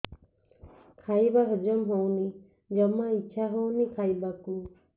ଖାଇବା ହଜମ ହଉନି ଜମା ଇଛା ହଉନି ଖାଇବାକୁ